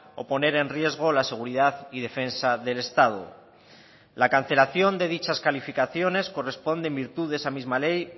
o poner en riesgo la seguridad y defensa del estado la cancelación de dichas calificaciones corresponde en virtud de esa misma ley